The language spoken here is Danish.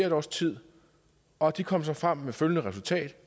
et års tid og de kom så frem til følgende resultat